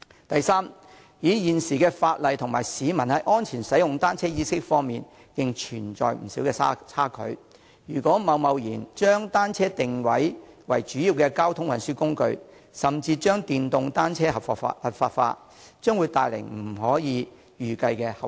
第三，現時的法例與市民在安全使用單車方面的意識仍存在不少差距，如果貿然將單車定位為主要交通運輸工具，甚至將電動單車合法化，將會帶來不可預計的後遺症。